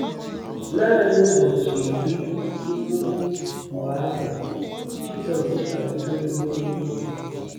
Naanị ụbọchị iri tupu mgbe ahụ, Jizọs arịgoro n'eluigwe.